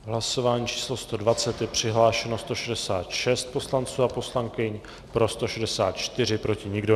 V hlasování číslo 120 je přihlášeno 166 poslanců a poslankyň, pro 164, proti nikdo.